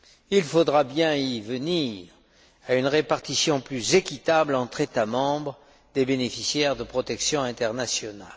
Il faudra bien en venir à une répartition plus équitable, entre États membres, des bénéficiaires de la protection internationale.